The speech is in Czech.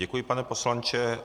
Děkuji, pane poslanče.